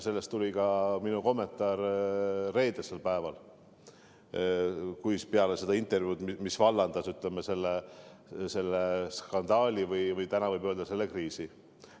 Selle kohta tuli ka minu kommentaar reedesel päeval, peale seda intervjuud, mis vallandas selle skandaali või, täna võib öelda, selle kriisi.